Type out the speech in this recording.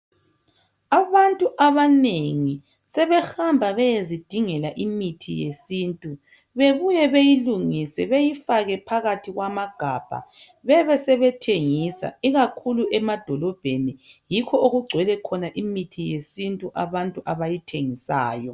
Abantu abanengi sebehamba beyezidingela imithi yesintu bebuye beyilungise beyifake phakathi kwamagabha, bebe sebethengisa ikakhulu emadolobheni. Yikho okugcwele khona imithi yesintu abantu abayithengisayo.